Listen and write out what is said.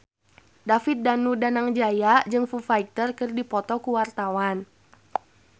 David Danu Danangjaya jeung Foo Fighter keur dipoto ku wartawan